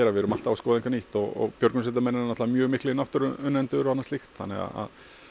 við erum alltaf að skoða eitthvað nýtt og björgunarsveitarmenn eru mjög miklir náttúruunnendur þannig að